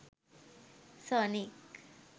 sonic